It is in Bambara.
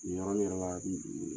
Nin yɔrɔ nin bɛ mɔgɔ hakili jigi.